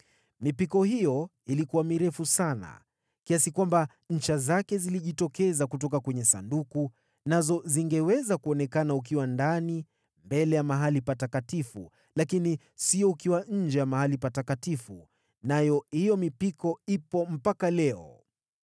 Mipiko hiyo ilikuwa mirefu sana kiasi kwamba ncha zake zilizojitokeza kutoka kwenye Sanduku, nazo zilionekana ukiwa mbele ya Patakatifu pa Patakatifu, lakini sio nje ya Mahali Patakatifu. Hiyo mipiko ipo hata leo.